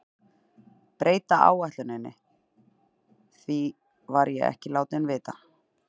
Breyta áætluninni, því var ég ekki látinn vita.